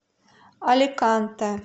аликанте